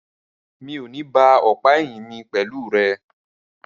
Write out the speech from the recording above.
Rárá, mi o ní ba ọ̀pá ẹ̀yìn mi pẹ̀lú rẹ.